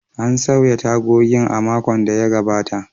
An sauya tagogin a makon da ya gabata.